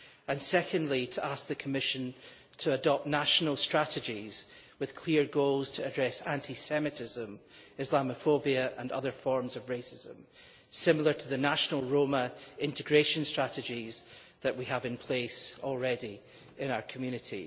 and, secondly, to ask the Commission to adopt national strategies with clear goals to address anti Semitism, Islamophobia and other forms of racism, similar to the national Roma integration strategies that we already have in place in our community.